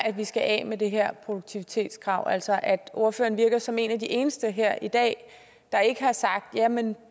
at vi skal af med det her produktivitetskrav altså at ordføreren virker som en af de eneste her i dag der ikke har sagt jamen